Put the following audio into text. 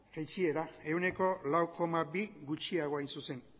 jaitsiera ehuneko lau koma bi gutxiago hain zuzen